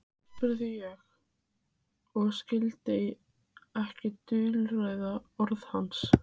spurði ég og skildi ekki dulræð orð hans.